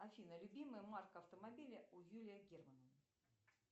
афина любимая марка автомобиля у юрия германа